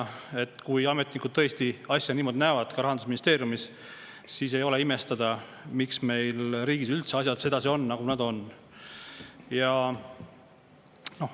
Kui Rahandusministeeriumis ametnikud tõesti asja niimoodi näevad, siis ei ole imestada, miks meil riigis üldse asjad sedasi on, nagu nad on.